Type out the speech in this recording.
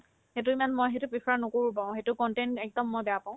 সেইটো ইমান মই সেইটো prefer নকৰো বাৰু সেইটো content একদম মই বেয়া পাও